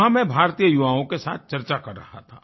वहाँ मैं भारतीय युवाओं के साथ चर्चा कर रहा था